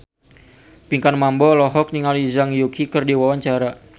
Pinkan Mambo olohok ningali Zhang Yuqi keur diwawancara